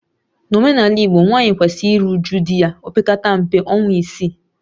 N'omenala Igbo, nwaanyị kwesiri iru uju di ya opekata mpe ọnwa isii